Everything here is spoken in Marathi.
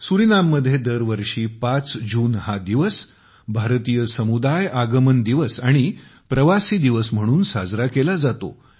सुरीनाममध्ये दरवर्षी ५ जून हा दिवस भारतीय समुदाय आगमन दिवस आणि प्रवासी दिवस म्हणून साजरा केला जातो